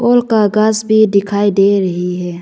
ओल का गास भी दिखाई दे रही है।